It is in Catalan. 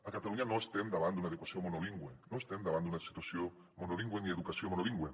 a catalunya no estem davant d’una educació monolingüe no estem davant d’una situació monolingüe ni d’una educació monolingüe